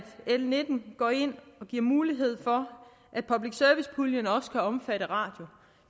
l nitten går ind og giver mulighed for at public service puljen også kan omfatte radio